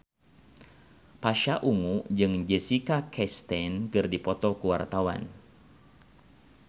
Pasha Ungu jeung Jessica Chastain keur dipoto ku wartawan